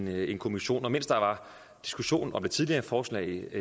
lavet en kommission og mens der var diskussion om det tidligere forslag